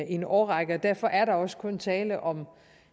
en årrække og derfor er der også kun tale om